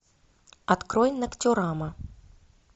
открой ноктюрама